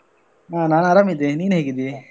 ಹ ನಾನ್ ಅರಾಮಿದ್ದೇನೆ ನೀನ್ ಹೇಗಿದ್ದಿ?